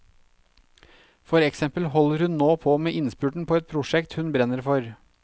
For eksempel holder hun nå på med innspurten på et prosjekt hun brenner for.